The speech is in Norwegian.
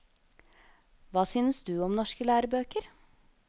Hva syns du om norske lærebøker?